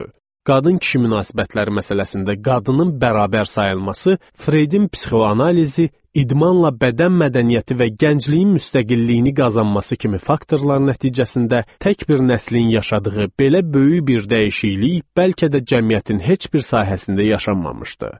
Qadın-kişi münasibətləri məsələsində qadının bərabər sayılması, Freydin psixoanalizi, idmanla bədən mədəniyyəti və gəncliyin müstəqilliyini qazanması kimi faktorlar nəticəsində tək bir nəslin yaşadığı belə böyük bir dəyişiklik bəlkə də cəmiyyətin heç bir sahəsində yaşanmamışdı.